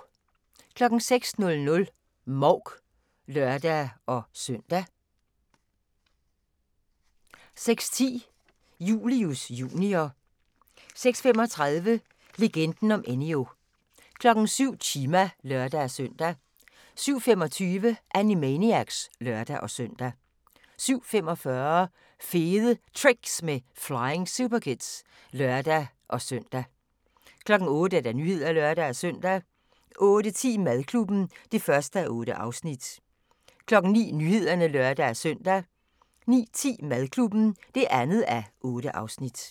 06:00: Mouk (lør-søn) 06:10: Julius Jr. 06:35: Legenden om Enyo 07:00: Chima (lør-søn) 07:25: Animaniacs (lør-søn) 07:45: Fede Tricks med Flying Superkids (lør-søn) 08:00: Nyhederne (lør-søn) 08:10: Madklubben (1:8) 09:00: Nyhederne (lør-søn) 09:10: Madklubben (2:8)